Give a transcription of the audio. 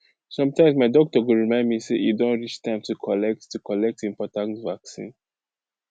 sometimes my doctor go remind me say e don reach time to collect to collect important vaccine